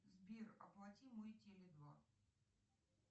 сбер оплати мой теле два